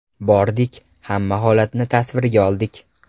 Bordik, hamma holatni tasvirga oldik.